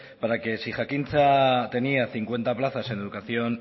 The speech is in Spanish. para que si jakintza tenía cincuenta plazas en educación